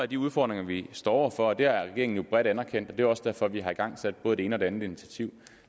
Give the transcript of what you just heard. de udfordringer vi står over for og det har regeringen jo bredt anerkendt og det er også derfor at vi har igangsat både det ene og det andet initiativ